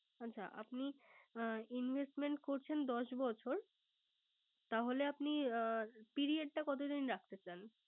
আচ্ছা Investment করছেন দশ বছর তাহলে আপনি Period টা কতদিন রাখতে চান